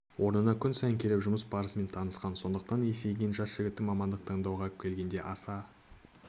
орнына күн сайын келіп жұмыс барысымен танысқан сондықтанда есейген жас жігіттің мамандық таңдауға келгенде аса